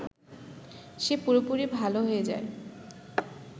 সে পুরোপুরি ভালো হয়ে যায়